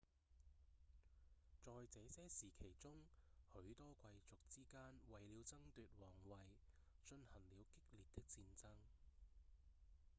在這些時期中許多貴族之間為了爭奪王位進行了激烈的戰爭